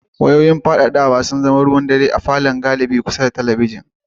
Wayoyin fadadawa sun zama ruwan dare a cikin falon galibi kusa da talabijin.